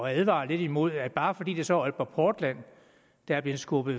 advare lidt imod at bare fordi det så er aalborg portland der er blevet skubbet